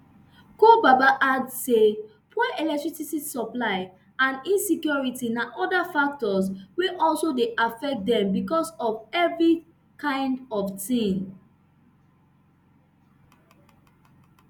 ko baba add say poor electricity supply and insecurity na oda factors wey also dey affect dem becos for evri kind of tin